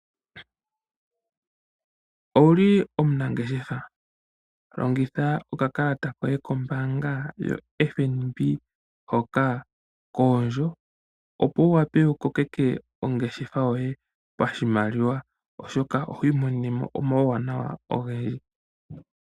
Owuli omunangeshefa ? Longitha okakalata koye kombaanga yoFNB. Hoka koondjo ,opo wu wape wu kokeke ongeshefa yoye pashimaliwa oshoka ohwii monene mo omawuwanawa ogendji.